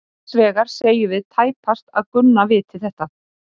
Hins vegar segjum við tæpast að Gunna viti þetta.